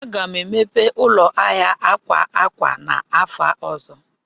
Aga m emepe ụlọ ahịa akwa akwa n'afọ ọzọ.